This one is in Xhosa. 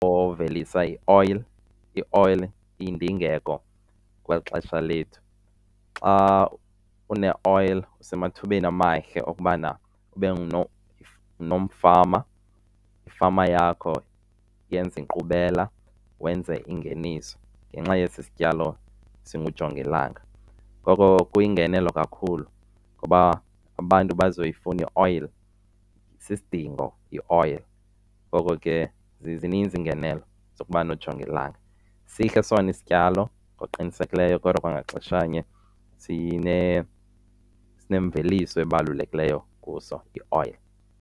Ovelisa i-oil, i-oil iyindingeko kweli xesha lethu. Xa une-oil usemathubeni amahle okubana ube nomfama, ifama yakho yenze inkqubela, wenze ingeniso ngenxa yesi sityalo singujongilanga. Ngoko kuyingenelo kakhulu ngoba abantu bazoyifuna i-oil, isisidingo i-oil. Ngoko ke zininzi iingenelo zokuba nojongilanga. Sihle sona isityalo ngokuqinisekileyo kodwa kwangaxeshanye sinemveliso ebalulekileyo kuso i-oil.